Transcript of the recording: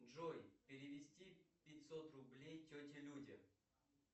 джой перевести пятьсот рублей тете люде